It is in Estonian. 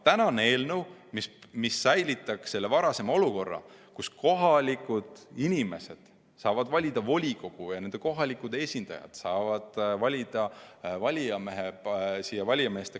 Kõnealune eelnõu säilitaks selle varasema olukorra, et kohalikud inimesed saavad valida volikogu ja nende kohalikud esindajad saavad valida valimiskogusse valijamehed.